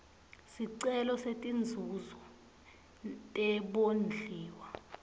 sicelo setinzuzo tebondliwa